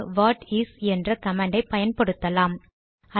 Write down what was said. அதற்கு what is என்ற கமாண்டை பயன்படுத்தலாம்